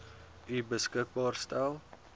u beskikbaar gestel